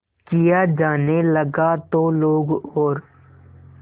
किया जाने लगा तो लोग और